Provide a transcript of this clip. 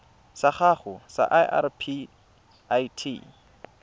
sa gago sa irp it